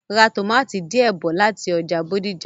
Ra tòmátì díẹ̀ bí láti ọjà Bódìjà.